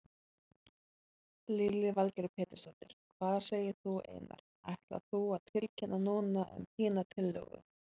Lillý Valgerður Pétursdóttir: Hvað segir þú Einar, ætlar þú að tilkynna núna um þína tillögu?